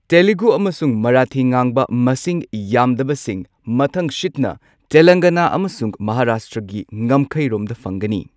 ꯇꯦꯂꯨꯒꯨ ꯑꯃꯁꯨꯡ ꯃꯔꯥꯊꯤ ꯉꯥꯡꯕ ꯃꯁꯤꯡ ꯌꯥꯝꯗꯕꯁꯤꯡ ꯃꯊꯪꯁꯤꯠꯅ ꯇꯦꯂꯪꯒꯅꯥ ꯑꯃꯁꯨꯡ ꯃꯍꯥꯔꯥꯁꯇ꯭ꯔꯒꯤ ꯉꯝꯈꯩꯔꯣꯝꯗ ꯐꯪꯒꯅꯤ꯫